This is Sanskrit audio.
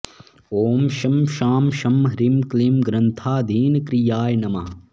ॐ शं शां षं ह्रीं क्लीं ग्रन्थाधीनक्रियाय नमः